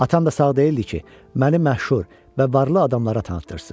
Atam da sağ deyildi ki, məni məşhur və varlı adamlara tanıtdırsın.